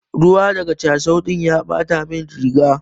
Ruwa daga cashew din ya Bata min riga.